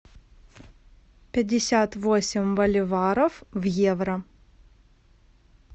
пятьдесят восемь боливаров в евро